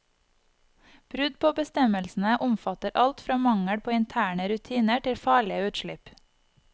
Brudd på bestemmelsene omfatter alt fra mangel på interne rutiner til farlige utslipp.